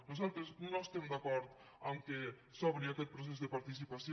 nosaltres no estem d’acord que s’obri aquest procés de participació